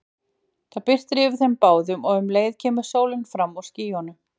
Það birtir yfir þeim báðum og um leið kemur sólin fram úr skýjunum.